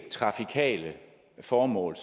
trafikale formål